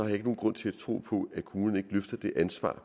jeg ikke nogen grund til at tro at kommunerne ikke løfter det ansvar